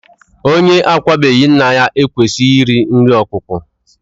Onye akwabeghi nna ya ekwesịghị iri nri ọkwụkwụ